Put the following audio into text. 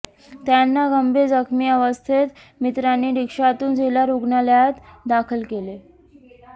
त्यांना गंभीर जखमी अवस्थेत मित्रांनी रिक्षातून जिल्हा रुग्णालयात दाखल केले